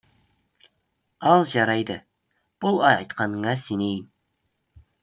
ал жарайды бұл айтқаныңа сенейін